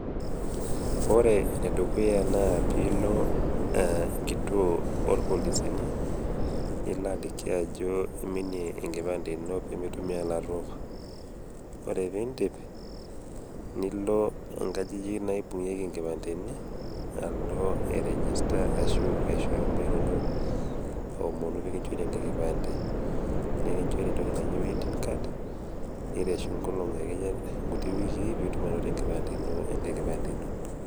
Ore ene dukuya naa piilo e enkituo orpolisini nilo aliki ajo iminie enkipande ino pee mitumia ilaruok. Oree piindip nilo nkajijik naibung'ieki nkipandeni alo ai register ashu aishoyo namba inonok a aomonu pee kinchori enkae kipande, nekinchori entoki naji waiting card nireshu nkolong'i akeyie nkuti wikii piitum ainoto enkipande ino enkae kipande ino.